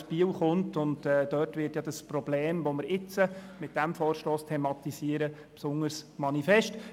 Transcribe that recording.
Denn er kommt aus Biel, und dort wird das Problem, das wir mit diesem Vorstoss thematisieren, besonders manifest.